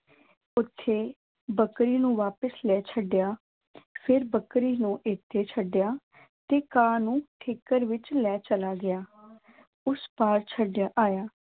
ਉੱਥੇ ਬੱਕਰੀ ਨੂੰ ਵਾਪਿਸ ਲੈ ਛੱਡਿਆ ਫਿਰ ਬੱਕਰੀ ਨੂੰ ਇੱਥੇ ਛੱਡਿਆ ਤੇ ਘਾਹ ਨੂੰ ਠੀਕਰ ਵਿੱਚ ਲੈ ਚਲਾ ਗਿਆ ਉਸ ਪਾਰ ਛੱਡ ਆਇਆ